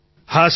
Shri Hari જી